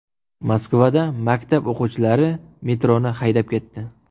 Moskvada maktab o‘quvchilari metroni haydab ketdi.